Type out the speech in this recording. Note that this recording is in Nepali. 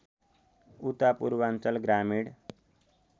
उता पूर्वाञ्चल ग्रामीण